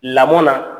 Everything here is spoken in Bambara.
Lamɔn na